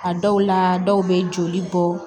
A dɔw la dɔw bɛ joli bɔ